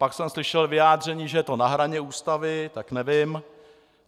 Pak jsem slyšel vyjádření, že je to na hraně Ústavy, tak nevím.